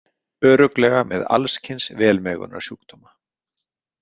Örugglega með alls kyns velmegunarsjúkdóma.